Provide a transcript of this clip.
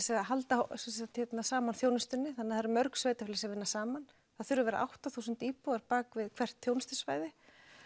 að halda saman þjónustunni þannig það eru mörg sveitarfélög sem vinna saman það þurfa að vera átta þúsund íbúar hvert þjónustusvæði